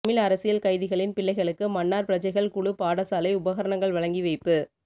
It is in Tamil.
தமிழ் அரசியல் கைதிகளின் பிள்ளைகளுக்கு மன்னார் பிரஜைகள் குழு பாடசாலை உபகரணங்கள் வழங்கி வைப்பு